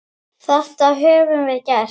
Þetta höfum við gert.